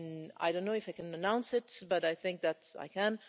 I do not know if I can announce this, but I think that I can.